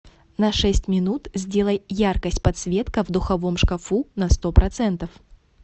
на шесть минут сделай яркость подсветка в духовом шкафу на сто процентов